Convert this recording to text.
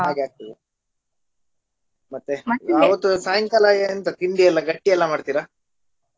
ಹಾಗಾಕ್ತದೆ ಮತ್ತೆ ಆವತ್ತು ಸಾಯಂಕಾಲ ಎಂತ ತಿಂಡಿ ಎಲ್ಲ ಗಟ್ಟಿ ಎಲ್ಲ ಮಾಡ್ತೀರಾ?